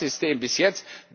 So war das System bis jetzt.